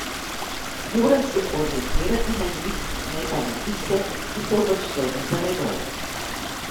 Moram se orientirati na njih, ne pa na tiste, ki so uvrščeni za menoj.